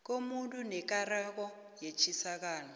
komuntu nekareko netjisakalo